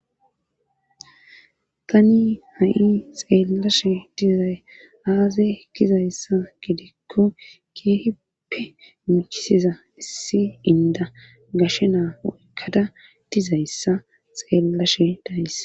tani ha7i xeellashe dizay aaze ekkizayssa gidikko keehippe muchisiza issi inda gashe naa oykkada dizayssa xeellashe dayss